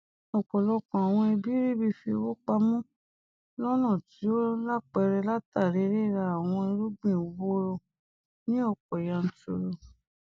ọpọlọpọ àwọn ẹbí ríbi fi owó pamọ lọnà tí ó lápẹẹrẹ látàrí rirà àwọn irúgbìn woro ní ọpọ yanturu